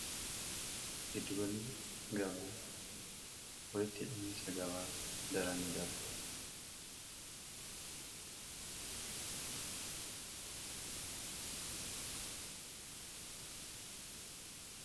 Giddugallii gabaa walitti hidhamiinsa gabaa daraan nidabala.